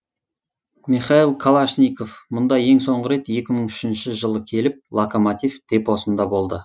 михаил калашников мұнда ең соңғы рет екі мың үшінші жылы келіп локомотив депосында болды